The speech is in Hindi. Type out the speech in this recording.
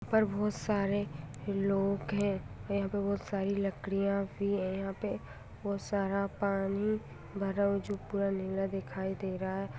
यहाँ पर बहुत सारे लोग है यहाँ पे बहुत सारी लकड़ियां भी है यहाँ पे बहुत सारा पानी भरा हुआ है जो पुरा नीला दिखाई दे रहा है।